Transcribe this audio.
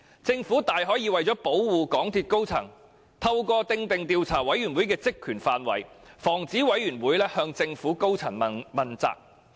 政府大可以為了保護港鐵公司高層，透過訂定該委員會的職權範圍，防止它向政府高層問責。